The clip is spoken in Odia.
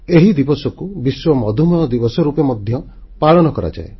ଏହି ଦିବସକୁ ବିଶ୍ୱ ମଧୁମେହ ଦିବସ ରୂପେ ମଧ୍ୟ ପାଳନ କରାଯାଏ